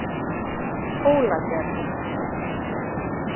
Hólagerði